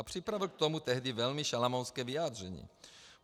A připravil k tomu tehdy velmi šalamounské vyjádření.